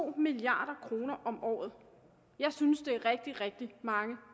milliard kroner om året jeg synes det er rigtig rigtig mange